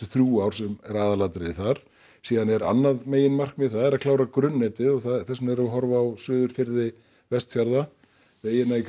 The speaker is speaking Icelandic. þrjú ár sem eru aðalatriði þar síðan er annað meginmarkmið það er að klára grunnetið og þess vegna erum við að horfa á suðurfirði Vestfjarða vegina í